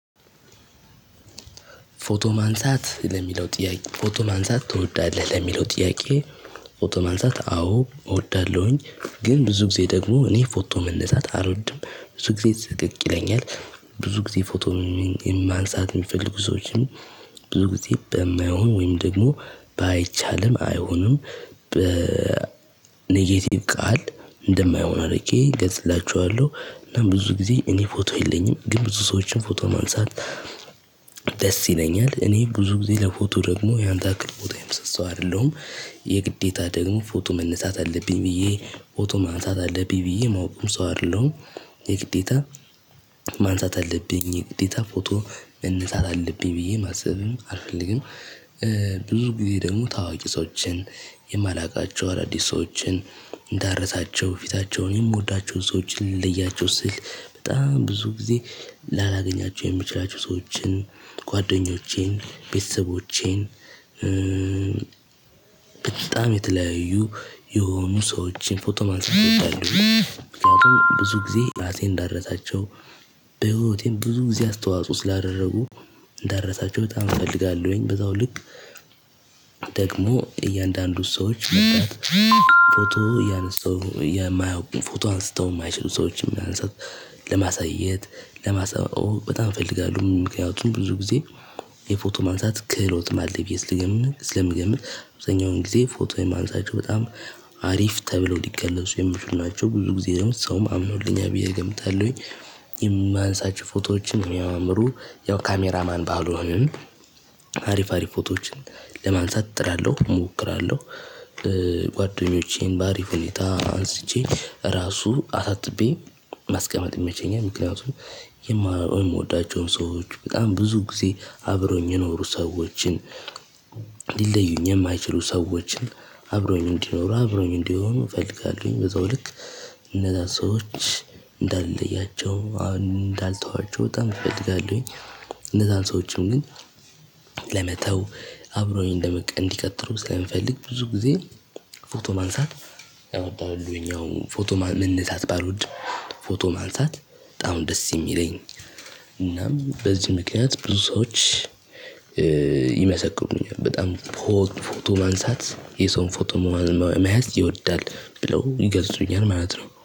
ፎቶ ማንሳት ለሚለው ጥያቄ ፎቶ ማንሳት ትወዳለህ ለሚለው ጥያቄ? ፎቶ ማንሳት አዎ እወዳለሁኝ ግን ብዙ ጊዜ ደግሞ እኔ ፎቶ መነሳት አልወድም ብዙ ጊዜ ስቅቅ ይለኛል። ብዙ ጊዜ ፎቶ ማንሳት የምፈልጉ ሰዎችን ብዙ ጊዜ በማይሆን ወይም ደግሞ ባይቻልም አይሆንም። በኔጌቲቭ ቃል እንደማይሆን አድርጌ እገልጽችኋለሁ። እና ብዙ ጊዜ እኔ ፎቶ የለኝም ግን ብዙ ሰዎችን ፎቶ ማንሳት። ደስ ይለኛል እኔ ብዙ ጊዜ ለፎቶ ደግሞ ያንተ ያክል ለፎቶ የምሳሳ ሰው አይደለሁም። የግዴታ ደግሞ ፎቶ መነሳት አለብኝ ብዬ ፎቶ ማንሳት አለብኝ ብዬ ማወቅም ሰው አይደለሁም። የግዴታ ማንሳት አለብኝ ግዴታ ፎቶ መነሳት አለብኝ ብዬ ማሰብም አልፈልግም። ብዙ ጊዜ ደግሞ ታዋቂ ሰዎችን የማላውቃቸው አዳዲስ ሰዎችን እንዳረሳቸው ፊታቸውን የምወዳቸውን ሰዎችን ልለያቸው ስል በጣም ብዙ ጊዜ ላላገኛቸው የምችላቸው ሰዎችን ጓደኞቼን ቤተሰቦቼን በጣም የተለያዩ የሆኑ ሰዎችን ፎቶ ማንሳት እችላለሁ። ምክንያቱም ብዙ ጊዜ ራሴን እንዳረታቸው በህይወቴም ብዙ ጊዜ አስተዋጽኦ ስላደረጉ እንዳረሳቸው በጣም እፈልጋለሁኝ በዛው ልክ። ደግሞ እያንዳንዱ ሰዎች ፎቶ እያነሳው የማያውቁን ፎቶ አንስተው የማይችሉ ሰዎችን የሚያነሳው ለማሳየት ለማሳየት በጣም እፈልጋለሁ። ምክንያቱም ብዙ ጊዜ የፎቶ ማንሳት ክህሎት አለኝ ብዬ ልገም ስለምገምት አብዛኛውን ጊዜ ፎቶ የማነሳቸው በጣም አሪፍ ተብሎ ሊገለጹ የሚችሉ ናቸው ብዙ ጊዜ ደግሞ ሰውም አምኖልኛል ብዬ እገምታለሁኝ። የማነሳችሁ ፎቶዎችን የሚያምሩ ያው ካሜራ ማን ባልሆንም አሪፍ አሪፍ ፎቶዎችን ለማንሳት እጥራለሁ እሞክራለሁ። ጓደኞቼን በአሪፍ ሁኔታ አንስቼ ራሱ አሳጥቤ ማስቀመጥ ይመቸኛል ምክንያቱም የምወዳቸውን ሰዎች በጣም ብዙ ጊዜ አብሮኝ የኖሩ ሰዎችን። ሊለዩኝ የማይችሉ ሰዎችን አብሮኝ እንዲኖሩ አብሮኝ እንዲሆኑ እፈልጋለሁኝ በዛው ልክ እነዛ ሰዎች እንዳልለያቸው አሁን እንዳልተዋቸው በጣም እፈልጋለሁኝ። እነዛን ሰዎችም ግን ለመተው አብረውኝ እንደምቀጥሉ ስለምፈልግ ብዙ ጊዜ። ፎቶ ማንሳት ያወጣሁልኝ ያው ፎቶ መነሳት ባልወድም ፎቶ ማንሳት በጣም ደስ የሚለኝ እናም በዚህ ምክንያት ብዙ ሰዎች። ይመሰክሩልኛል በጣም ፎቶ ማንሳት የሰው ፎቶ መያዝ ይወዳል ብለው ይገልጹኛል ማለት ነው።